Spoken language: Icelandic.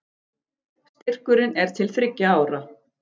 Styrkurinn er til þriggja ára